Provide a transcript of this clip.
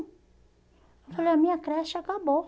Eu falei, a minha creche acabou.